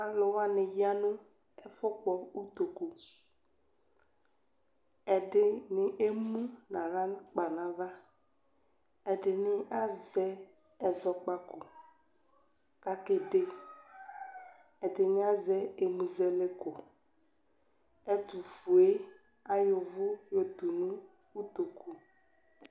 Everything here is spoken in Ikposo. Alʋ wani yanʋ ɛfʋkpɔ ʋtokʋ ɛdini ɛmʋ nʋ aɣlakpa nʋ ava ɛdini azɛ ɛzɔkpako kʋ ake de ɛdini azɛ ɛmʋ zɛlɛko ɛtʋfue ayɔ ʋvʋ yotunu ʋtokʋ